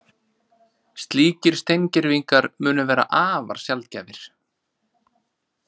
Slíkir steingervingar munu vera afar sjaldgæfir